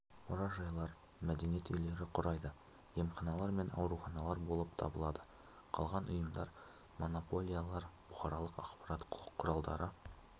мұражайлар мәдениет үйлері құрайды емханалар мен ауруханалар болып табылады қалған ұйымдар монополиялар бұқаралық ақпарат құралдары